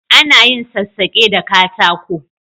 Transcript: A na yin sassake da katako